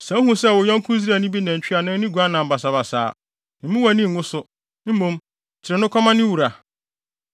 Sɛ wuhu sɛ wo yɔnko Israelni bi nantwi anaa ne guan nam basabasa a, mmu wʼani ngu so; mmom kyere no kɔma ne wura.